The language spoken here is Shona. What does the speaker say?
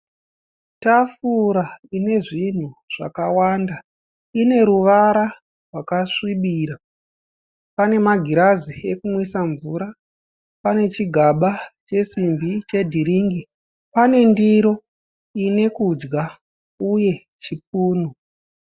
Tafura ine zvinhu zvakawanda. Ine ruvara rwakasvibira. Pane magirazi ekumwisa mvura. Pane chigaba chesimbi chedhiringi. Pane ndiro ine kudya uye chipunu.